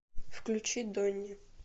включи дони